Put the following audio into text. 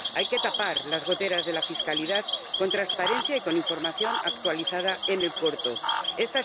Hay que tapar las goteras de la fiscalidad con transparencia y con información actualizada en el corto plazo.